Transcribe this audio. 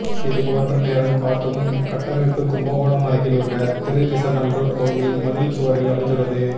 இதுபோன்ற நேரம் காட்டும் கட்டமைப்பு கும்பகோணம் அருகில் உள்ள திருவிசநல்லூர் கோயில் மதில் சுவரில் அமைந்துள்ளது